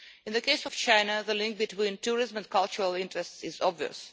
In the case of China, the link between tourism and cultural interests is obvious.